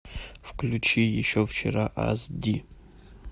включи еще вчера ас ди